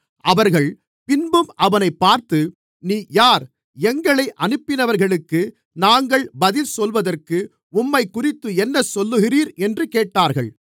அவர்கள் பின்பும் அவனைப் பார்த்து நீர் யார் எங்களை அனுப்பினவர்களுக்கு நாங்கள் பதில் சொல்வதற்கு உம்மைக்குறித்து என்ன சொல்லுகிறீர் என்று கேட்டார்கள்